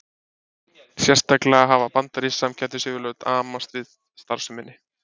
Sérstaklega hafa bandarísk samkeppnisyfirvöld amast við starfseminni.